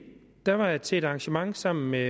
var jeg til et arrangement sammen med